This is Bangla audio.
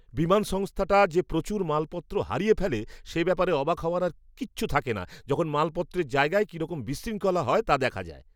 বিমান সংস্থাটা যে প্রচুর মালপত্র হারিয়ে ফেলে সে ব্যাপারে অবাক হওয়ার আর কিচ্ছু থাকে না যখন মালপত্রের জায়গায় কীরকম বিশৃঙ্খলা হয় তা দেখা যায়।